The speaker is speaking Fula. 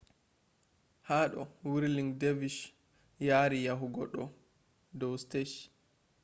hado whirling dervishes yari yahugo do stage